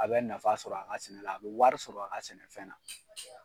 A bɛ nafa sɔrɔ a ka sɛnɛ la, a bɛ wari sɔrɔ a ka sɛnɛfɛn na.